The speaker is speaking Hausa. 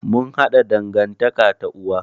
Mun haɗa dangantaƙa ta uwa.